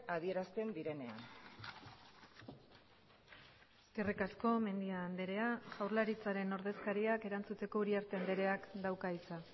adierazten direnean eskerrik asko mendia andrea jaurlaritzaren ordezkariak erantzuteko uriarte andreak dauka hitza